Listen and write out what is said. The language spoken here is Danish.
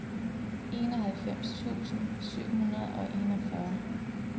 enoghalvfems tusind syv hundrede og enogfyrre